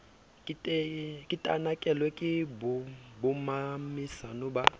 ke tanakelwe ke bommamesana ba